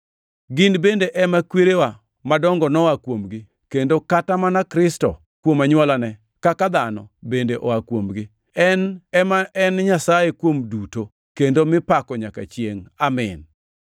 Gin bende ema kwerewa madongo noa kuomgi, kendo kata mana Kristo, kuom anywolane kaka dhano, bende oa kuomgi; En ma en Nyasaye kuom duto, kendo mipako nyaka chiengʼ! Amin.